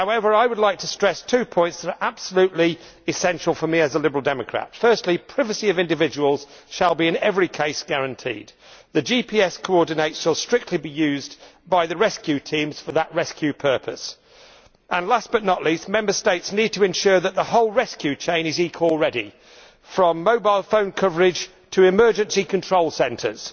I would like to stress two points that are absolutely essential for me as a Liberal Democrat, which are that the privacy of individuals is to be guaranteed in every case and that the GPS coordinates shall strictly be used by the rescue teams for that rescue purpose. Last but not least, Member States need to ensure that the whole rescue chain is eCall ready from mobile phone coverage to emergency control centres